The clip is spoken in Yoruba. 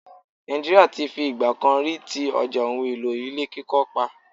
Nàìjíríà ti fi ìgbà kan rí ti ọjà ohun-èlò ilé kíkọ́ pa.